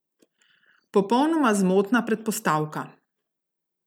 Popolnoma zmotna predpostavka ...